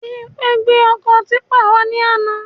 Bimpé gbé ọkọ típpà wà ní àna